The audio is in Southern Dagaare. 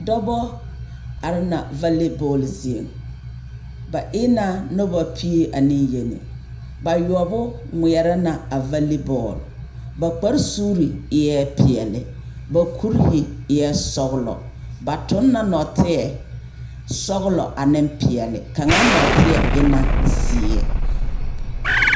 dɔbɔ are na vale bɔɔle zieŋ ba ena dɔbɔ pie ne yeni bayoɔbo ŋmeɛrɛ na a vale bɔɔle ba kpare suuri eɛ peɛle ba kpurihi eɛ sɔgelɔ. ba toŋ na nɔɔteɛ sɔgelɔ ane pene kaŋ nɔ2te e na zeɛ.